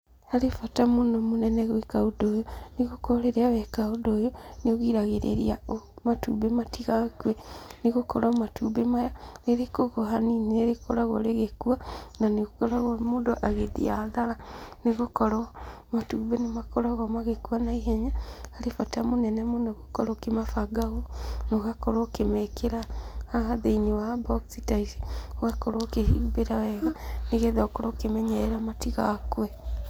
Harĩ bata mũno mũnene gwĩka ũndũ ũyũ, nĩgũkorwo rĩrĩa weka ũndũ ũyũ, nĩũgiragĩrĩria matumbĩ matigakue, nĩgũkorwo matumbĩ maya, rĩrĩkũgwa hanini nĩrĩkoragwo rĩgĩkua, na nĩũkoragwo mũndũ agĩthiĩ hathara nĩgũkorwo matumbĩ nĩmakoragwo magĩkua naihenya, harĩ bata mũnene mũno gũkorwo ũkĩmabanga ũũ, na ũgakorwo ũkĩmekĩra haha thĩinĩ wa mbokci ta ici, ũgakorwo ũkĩhumbĩra wega, nĩgetha ũkorwo ũkĩmenyerera matigakue.